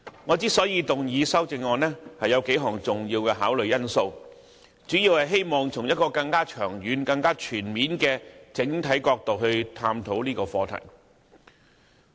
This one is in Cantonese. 我動議修正案，有數項重要的考慮因素，旨在從一個更長遠、全面的角度探討這個課題。